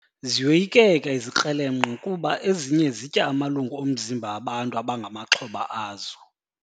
Ziyoyikeka izikrelemnqa kuba ezinye zitya amalungu omzimba bantu abangamaxhoba azo.